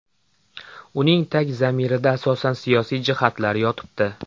Uning tag zamirida asosan siyosiy jihatlar yotibdi.